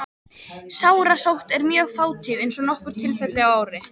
Sárasótt er mjög fátíð, aðeins nokkur tilfelli á ári.